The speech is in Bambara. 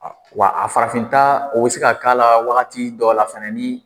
Wa a farafinta o bɛ se k'a la waati dɔ la fana ni